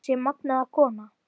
Þessi magnaða kona.